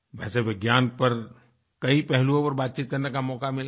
वैसे विज्ञान पर कई पहलुओं पर बातचीत करने का मौका मिला है